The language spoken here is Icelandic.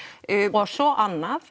og svo annað